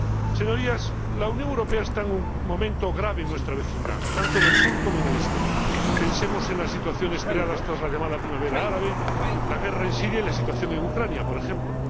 Señorías, la Unión Europea está en un momento grave en nuestra vecindad, tanto en el sur como en el este. Pensemos en las situaciones creadas tras la llamada Primavera Árabe, la guerra en Siria y la situación en Ucrania, por ejemplo.